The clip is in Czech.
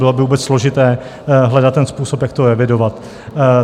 Bylo by vůbec složité hledat ten způsob, jak to evidovat.